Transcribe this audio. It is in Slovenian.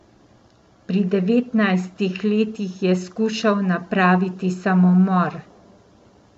Pri devetnajstih letih je skušal napraviti samomor.